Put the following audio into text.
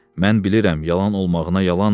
Mən bilirəm yalan olmağına yalandır.